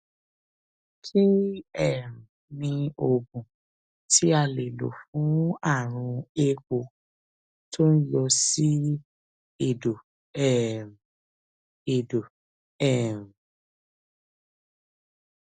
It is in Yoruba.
kí um ni oògùn tí a lè lò fún àrùn éèpo tó ń yọ sí èdò um èdò um